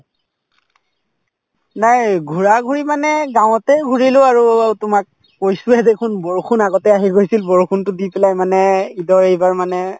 নাই ঘূৰা ঘূৰি মানে গাঁৱতে ঘূৰিলো আৰু তোমাক কৈছোয়ে দেখুন বৰষুণ আগতে আহি গৈছিল বৰষুণতো দি পেলাই মানে ঈদৰ এইবাৰ মানে